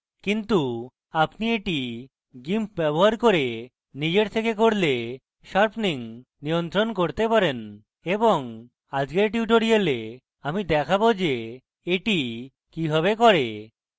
কিন্তু আপনি এটি gimp ব্যবহার করে নিজের থেকে করলে sharpening নিয়ন্ত্রণ করতে পারেন এবং আজকের tutorial আমি দেখাবো যে এটি কিভাবে করে